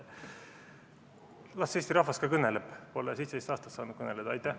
Las Eesti rahvas ka kõneleb, ta pole 17 aastat kõneleda saanud.